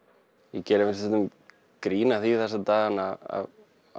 ég geri nú stundum grín að því þessa dagana að